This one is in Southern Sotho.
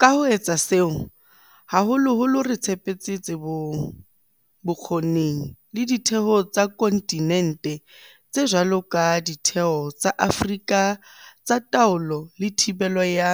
Ka ho etsa seo, haholoholo re tshepetse tsebong, bokgoning le ditheong tsa kontinente tse jwalo ka Ditheo tsa Afrika tsa Taolo le Thibelo ya